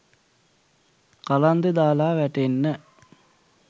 කලන්තෙ දාලා වැටෙන්න